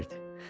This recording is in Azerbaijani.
Elioza deyirdi.